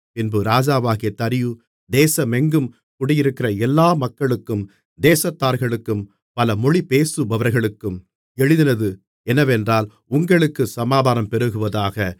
பின்பு ராஜாவாகிய தரியு தேசமெங்கும் குடியிருக்கிற எல்லா மக்களுக்கும் தேசத்தார்களுக்கும் பல மொழி பேசுபவர்களுக்கும் எழுதினது என்னவென்றால் உங்களுக்குச் சமாதானம் பெருகுவதாக